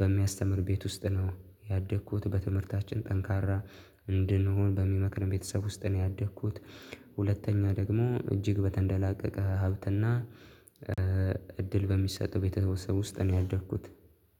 በሚያስተምር ቤት ውስጥ ነው ያደግኩት። በትምህርታችን ጠንካራ እንድንሆን በሚመክርም ቤተሰብ ውስጥ ነው ያደግኩት። ሁለተኛ ደግሞ እጅግ በተንደላቀቀ ሀብትና እድል በሚሰጠው ቤተሰብ ውስጥ ነው ያደግኩት።